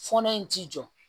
Fɔɔnɔ in t'i jɔ